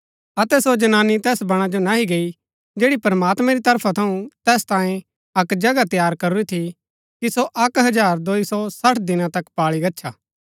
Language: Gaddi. अतै सो जनानी तैस बणा जो नह्ही गई जैड़ी प्रमात्मैं री तरफा थऊँ तैस तांयें अक्क जगह तैयार करूरी थी कि सो अक्क हजार दोई सो सठ दिना तक पाळी गच्छा